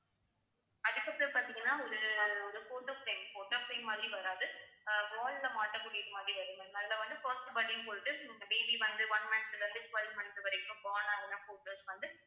அதுக்கப்புறம் பாத்தீங்கன்னா ஒரு ஒரு photo frame photo frame மாதிரி வராது அஹ் wall ல மாட்டக்கூடியது மாதிரி வரும் ma'am அதுல வந்து first birthday னு போட்டு இந்த baby வந்து one month ல இருந்து twelve month வரைக்கும் born அதெல்லாம் photos வந்து